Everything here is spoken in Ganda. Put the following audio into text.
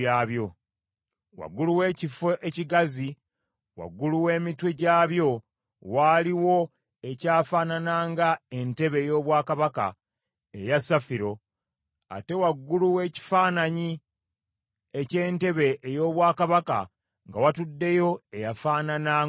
Waggulu w’ekifo ekigazi waggulu w’emitwe gyabyo waaliwo ekyafaanananga entebe ey’obwakabaka, eya safiro, ate waggulu w’ekifaananyi eky’entebe ey’obwakabaka nga watuddeyo eyafaanana ng’omuntu.